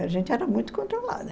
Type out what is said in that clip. A gente era muito controlada.